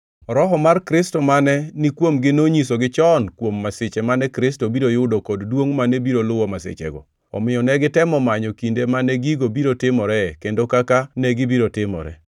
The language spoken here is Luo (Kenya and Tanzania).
Roho mar Kristo mane nikuomgi nonyisogi chon kuom masiche mane Kristo biro yudo kod duongʼ mane biro luwo masichego, omiyo ne gitemo manyo kinde mane gigo biro timoree kendo kaka negibiro timore.